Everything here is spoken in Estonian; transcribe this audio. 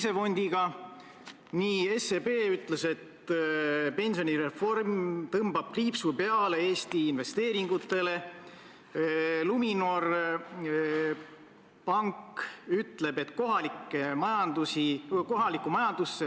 Seal on minu teada, kui ma ei eksi, olemas kõikide Tallinna linnapeade fotod hoolimata sellest, mis ajastul nad on ametis olnud – kas okupatsiooni ajal, esimese Eesti Vabariigi ajal või iseseisvuse taastanud Eestis.